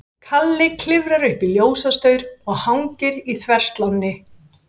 Kalli klifrar upp í ljósastaur og hangir í þverslánni.